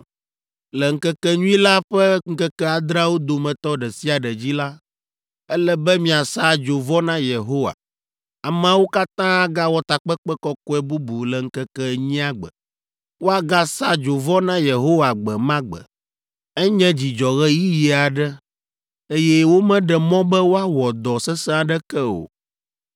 Le ŋkekenyui la ƒe ŋkeke adreawo dometɔ ɖe sia ɖe dzi la, ele be miasa dzovɔ na Yehowa. Ameawo katã agawɔ takpekpe kɔkɔe bubu le ŋkeke enyia gbe. Woagasa dzovɔ na Yehowa gbe ma gbe. Enye dzidzɔɣeyiɣi aɖe, eye womeɖe mɔ be woawɔ dɔ sesẽ aɖeke o.’